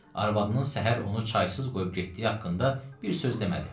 Arvadının səhər onu çaysız qoyub getdiyi haqqında bir söz demədi.